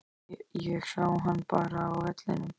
Ég sá hana bara á vellinum.